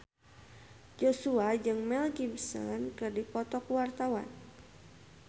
Joshua jeung Mel Gibson keur dipoto ku wartawan